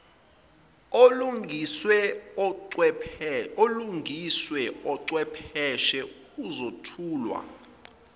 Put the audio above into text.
olungiswe uchwepheshe uzothulwa